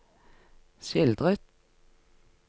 skildret